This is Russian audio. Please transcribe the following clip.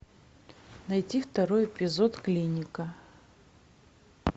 найти второй эпизод клиника